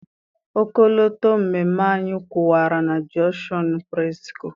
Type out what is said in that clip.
Ọkọlọtọ mmemme ahụ kwụwara na Jọnshọnụ Presịko.